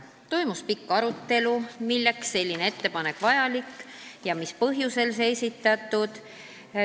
Toimus pikk arutelu, milleks see vajalik on, mis põhjusel see ettepanek on esitatud.